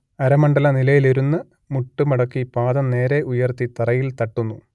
അരമണ്ഡല നിലയിലിരുന്ന് മുട്ട് മടക്കി പാദം നേരെ ഉയർത്തി തറയിൽ തട്ടുന്നു